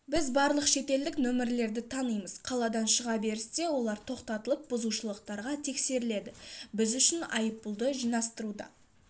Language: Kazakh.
біз барлық шетелдік номерлерді танимыз қаладан шыға берісте олар тоқтатылып бұзушылықтарға тексеріледі біз үшін айыппұлдарды жинастыруда